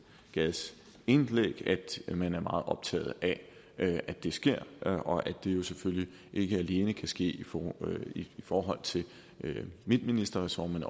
gades indlæg at man er meget optaget af at det sker og at det jo selvfølgelig ikke alene kan ske i forhold til mit ministerressort men